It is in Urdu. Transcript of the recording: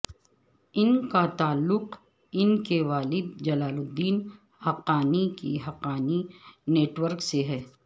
ان کا تعلق ان کے والد جلال الدین حقانی کے حقانی نیٹ ورک سے ہے